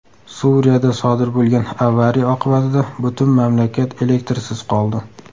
Suriyada sodir bo‘lgan avariya oqibatida butun mamlakat elektrsiz qoldi.